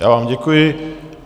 Já vám děkuji.